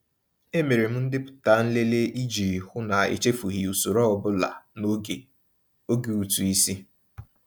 E mere m ndepụta nlele iji hụ na echefughị usoro ọbụla n'oge oge ụtụisi.